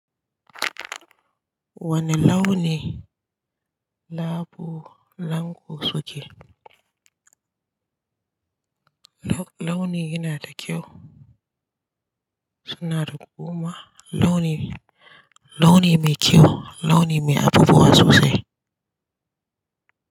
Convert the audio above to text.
Wane launi labo lanƙo suke? Launi yana da kyau. Suna da kuma launi, launi mai kyau, launi mai abubuwa sosai.